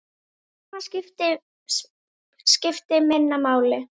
Annað skipti minna máli.